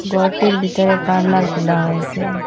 গরটির ভিতরে পার্লার খোলা হয়েসে।